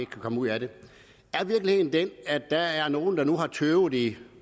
kan komme ud af den er virkeligheden den at der er nogle der har tøvet i